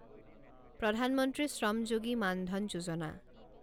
প্ৰধান মন্ত্ৰী শ্ৰম যোগী মান ধন যোজনা